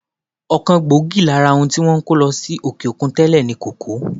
Ọ̀kan gbòógì lára ohun tí wọ́n ń kó lọ sí òkè-òkun tẹ́lè ni kòkó.